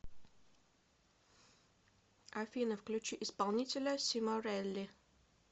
афина включи исполнителя симорелли